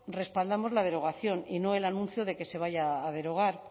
respaldamos la derogación y no el anuncio de que se vaya a derogar